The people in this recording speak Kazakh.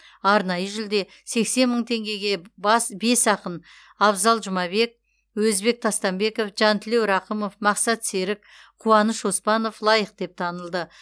арнайы жүлде сексен мың теңгеге бес ақын абзал жұмабек өзбек тастамбеков жантілеу рақымов мақсат серік қуаныш оспанов лайық деп танылды